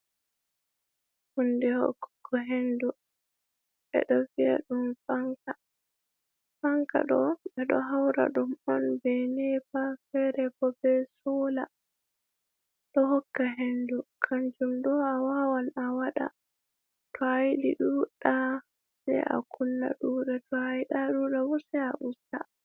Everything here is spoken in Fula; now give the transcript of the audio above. Hunde hokkugo hendu ɓeɗo vi'a ɗum fanka. Fanka ɗo ɓeɗo haura ɗum on be nepa fere bo be sola ɗo hokka hendu kanjum ɗo a wawan a waɗa to ayiɗi ɗuɗa sai a kunna ɗuɗa to ayiɗa ɗuɗa bo sai a usta.